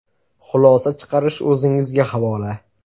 Xulosa chiqarish o‘zingizga havola.